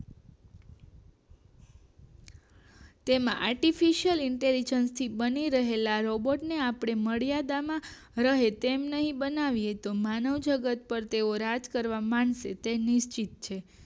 એમાં artificial intelligent થી બની રહેલા રોબોર્ટ ને આપણે મર્યાદા માં રહે તે રીતે બતાવીએ તો માનવજગત પાર તેઓ રાજ કરવા માંડશે તે નિશ્ચિત છે